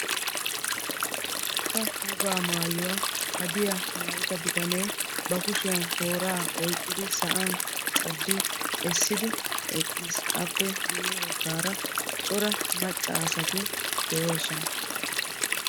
Wolaytta wogaa maayuwaa hadiyaa mayida bitanee ba kushiyaan tooraa oyqqidi sa'an caddi essidi eqqiis. appe guye baggaara cora macca asati de'oosona.